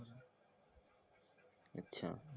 अच्छा